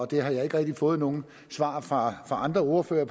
det har jeg ikke rigtig fået nogen svar fra andre ordførere